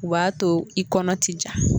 O b'a to i kɔnɔ ti ja